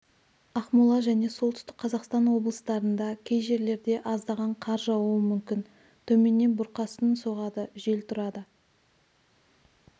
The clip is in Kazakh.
ақмола және солтүстік қазақстан облыстарында кей жерлерде аздаған қар жаууы мүмкін төменнен бұрқасын соғады жел тұрады